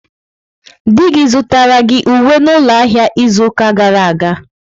Di gi zụtara gị uwe n'ụlọ ahịa izu ụka gara aga?